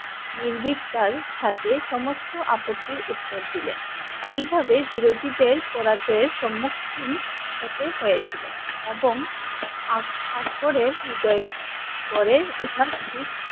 নির্বিকতার সাথে সমস্ত আপত্তির উত্তর দিলেন। এই ভাবে বিরোধীদের পরাজয়ের সম্মুখীন হতে হয়েছিল এবং আ আকবরের হৃদয়ে গড়ে ওঠা শিখ,